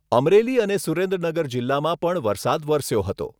અમરેલી અને સુરેન્દ્રનગર જિલ્લામાં પણ વરસાદ વરસ્યો હતો.